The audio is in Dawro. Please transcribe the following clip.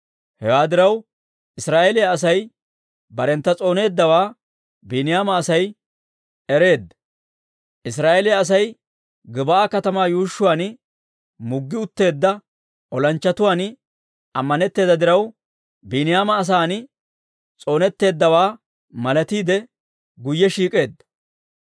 Hewaa diraw, Israa'eeliyaa Asay barentta s'ooneeddawaa Biiniyaama Asay ereedda. Israa'eeliyaa Asay Gib'aa katamaa yuushshuwaan muggi utteedda olanchchatuwaan ammanetteedda diraw, Biiniyaama asaan s'oonetteeddawaa malatiide guyye shiik'eedda.